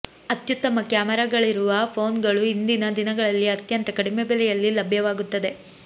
ಅತ್ಯುತ್ತಮ ಕ್ಯಾಮರಾಗಳಿರುವ ಫೋನ್ ಗಳು ಇಂದಿನ ದಿನಗಳಲ್ಲಿ ಅತ್ಯಂತ ಕಡಿಮೆ ಬೆಲೆಯಲ್ಲಿ ಲಭ್ಯವಾಗುತ್ತದೆ